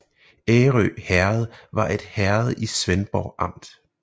Ærø Herred var et herred i Svendborg Amt